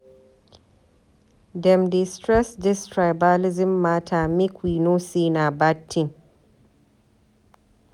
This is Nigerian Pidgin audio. Dem dey stress dis tribalism mata make we know sey na bad tin.